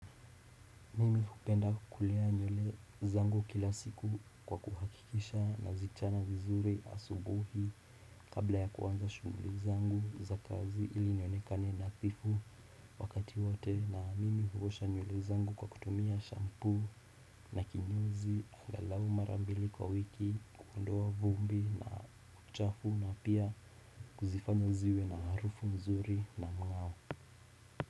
Mimi hupenda kulea nywele zangu kila siku kwa kuhakikisha nazichana vizuri asubuhi kabla ya kuanza shughuli zangu za kazi ili nionekane nadhifu wakati wote na mimi huosha nywele zangu kwa kutumia shampoo na kinyozi angalau marambili kwa wiki kuondoa vumbi na uchafu na pia kuzifanya ziwe na harufu mzuri na mngao.